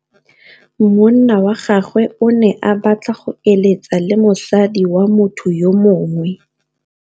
Monna wa gagwe o ne a batla go êlêtsa le mosadi wa motho yo mongwe.